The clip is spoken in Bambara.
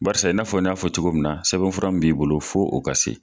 Barisa i n'a fɔ n y'a fɔ cogo min na sɛbɛnfura min b'i bolo fo o ka se.